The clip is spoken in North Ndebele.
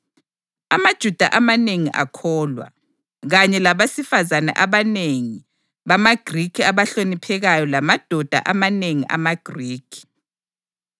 AmaJuda amanengi akholwa, kanye labesifazane abanengi bamaGrikhi abahloniphekayo lamadoda amanengi amaGrikhi.